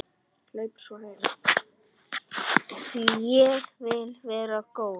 Því ég vil vera góð.